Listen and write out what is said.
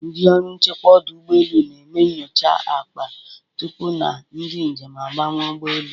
Ndị ọrụ nchekwa ọdụ ụgbọelu na-eme nyocha akpa tupu na ndị njem abanye ụgbọelu.